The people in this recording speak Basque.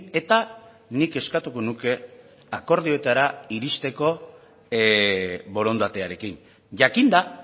eta nik eskatuko nuke akordioetara iristeko borondatearekin jakinda